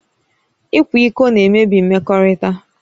Ịkwa iko na-emebi mmekọrịta